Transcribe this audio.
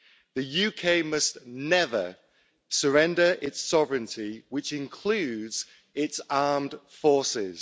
The UK must never surrender its sovereignty, which includes its armed forces.